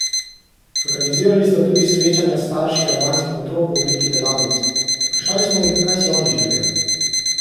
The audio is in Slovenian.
Organizirali sta tudi srečanja s starši albanskih otrok v obliki delavnic: "Vprašali smo jih, kaj si oni želijo.